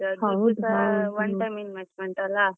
One time investment ಅಲ್ಲಾ.